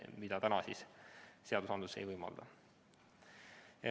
Siiani seadus seda ei lubanud.